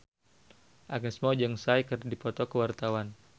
Agnes Mo jeung Psy keur dipoto ku wartawan